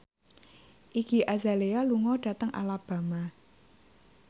Iggy Azalea lunga dhateng Alabama